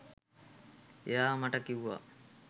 එයා මට කිව්වා